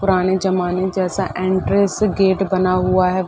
पुराने जमाने जैसा एंट्रेंस गेट बना हुआ है।